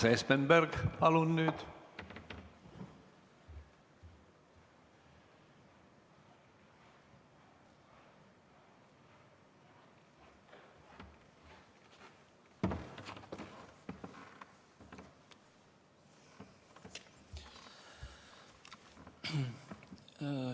Urmas Espenberg, palun nüüd!